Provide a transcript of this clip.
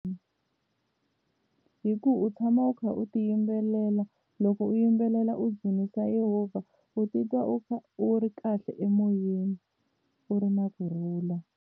Hi ku u tshama u kha u ti yimbelela loko u yimbelela u dzunisa yehovha u titwa u kha u ri kahle emoyeni u ri na kurhula.